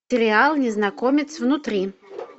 сериал незнакомец внутри